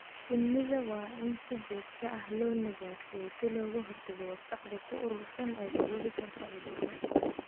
Shinnida waa in si joogto ah loo nadiifiyaa si looga hortago wasakhda ku urursan ee sababi karta cudurro.